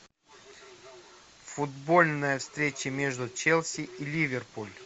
футбольная встреча между челси и ливерпуль